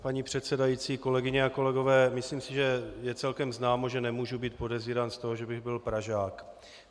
Paní předsedající, kolegyně a kolegové, myslím si, že je celkem známo, že nemůžu být podezírán z toho, že bych byl Pražák.